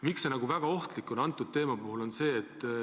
Miks see aga selle teema puhul eriti ohtlik on?